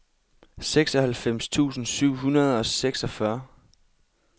seksoghalvfems tusind syv hundrede og seksogfyrre